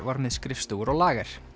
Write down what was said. var með skrifstofur og lager